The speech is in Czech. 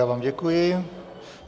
Já vám děkuji.